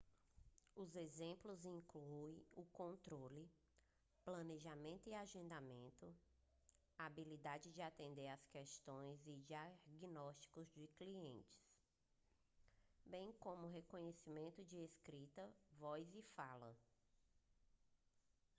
os exemplos incluem o controle planejamento e agendamento a habilidade de atender as questões e diagnósticos dos clientes bem como o reconhecimento de escrita voz e fala